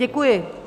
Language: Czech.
Děkuji.